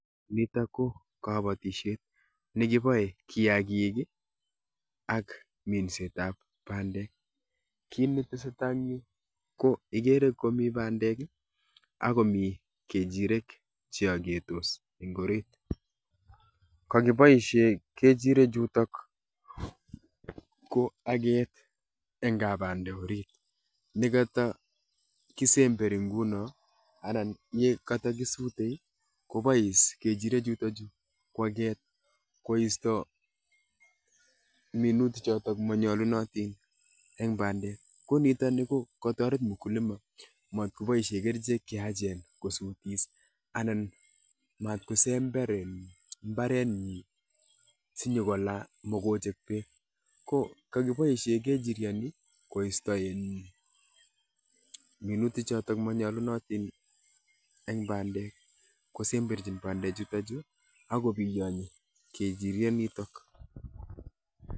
Nitok ko kabatishet ne kibae kiyaagik ak minsetab bandek. Kiy ne tesetai eng' yu, ko igere komi bandek, akomi kejirek che agetos eng' orit. Kakiboisie kejirek chutok ko aget eng' kabande orit. Ne katakisemberi nguno anan ye katakisute, kobois kechirek chutochu kwaget koisto minutik chotok manyolunotin eng' bandek. Ko nitoni, ko katoret mkulima, matkoboisie kerichek che yaachen kosutis, anan matkosember um mbaret nyi, sinyikolaa mokochek beek. Ko kakiboisie kechiriot ni koisto um minutik chotok manyolunotin eng' bandek. Kosemberchin bandek chutochu, akobiyonyi kejiriet nitok